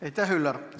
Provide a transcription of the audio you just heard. Aitäh, Üllar!